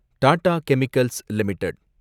Tata chemicals limited